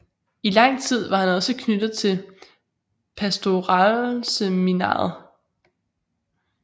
I lang tid var han også knyttet til pastoralseminariet